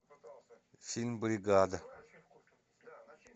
фильм бригада